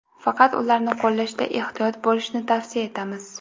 Faqat ularni qo‘llashda ehtiyot bo‘lishni tavsiya etamiz.